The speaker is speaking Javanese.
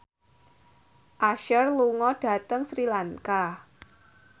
Usher lunga dhateng Sri Lanka